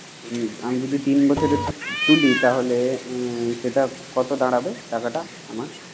তিন আমি যদি তিন বছরে তুলি তাহলে সেটা কত টাকাটা আমার?